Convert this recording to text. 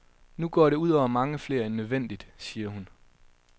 Nu går det ud over mange flere end nødvendigt, siger hun.